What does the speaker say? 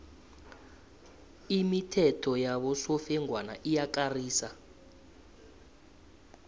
imithetho yabosofengwana iyakarisa